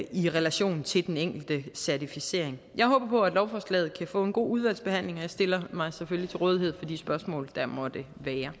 i relation til den enkelte certificering jeg håber at lovforslaget kan få en god udvalgsbehandling og jeg stiller mig selvfølgelig til rådighed for de spørgsmål der måtte